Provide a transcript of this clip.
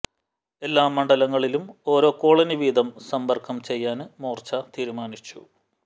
എല്ലാ മണ്ഡലങ്ങളിലും ഒരോ കോളനി വീതം സമ്പര്ക്കം ചെയ്യാന് മോര്ച്ച തീരുമാനിച്ചു